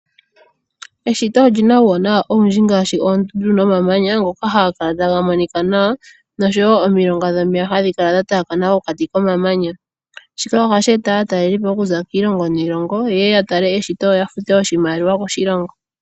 Eshito olina uuwanawa owundji ngaashi oondundu nomamanya ngoka haga kala taga monika nawa noshowo omilonga dhomeya hadhi kala dha taakana pokati komamanya, shika ohashi e ta aatalelipo okuza kiilongo niilongo yeye ya tale eshito yo ya fute oshimaliwa koshilongo.